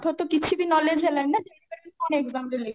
ପାଠ ତ କିଛି ବି knowledge ହେଲାନି ନା exam ଦେଲେ